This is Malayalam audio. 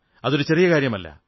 അതൊരു ചെറിയ കാര്യമല്ല